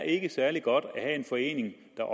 ikke er særlig godt at have en forening der